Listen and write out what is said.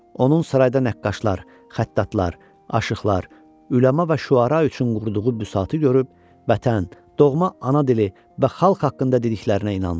Onun sarayda nəqqaşlar, xəttatlar, aşiqlar, üləma və şüara üçün qurduğu büsatı görüb vətən, doğma ana dili və xalq haqqında dediklərinə inandı.